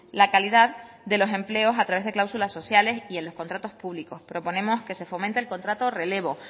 la calidad de los empleos a través de cláusulas sociales y en los contratos públicos proponemos que se fomente el contrato relevo